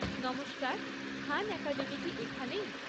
নমস্কার, Khan Academy কি এখানেই?